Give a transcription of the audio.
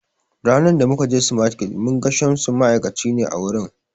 Ranan da mu kaje smartkids mun ga Shamsu, ma'aikaci ne a wurin